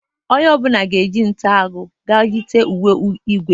Onye ọ bụla ga-eje nta agụ, ga-eyite uwe igwe.